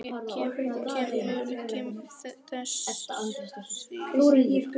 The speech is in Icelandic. Kemur þessi byrjun þér á óvart?